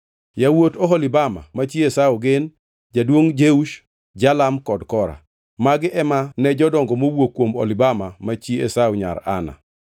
Yawuot Oholibama ma chi Esau gin: Jaduongʼ Jeush, Jalam kod Kora. Magi ema ne jodongo mowuok kuom Oholibama ma chi Esau nyar Ana.